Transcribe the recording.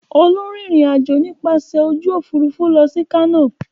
Olú ń rìnrìn-àjò nípasẹ̀ ojú òfurufú lọ sí Kano.